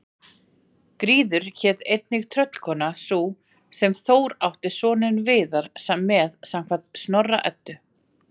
Gríður hét einnig tröllkona sú sem Þór átti soninn Viðar með samkvæmt Snorra-Eddu.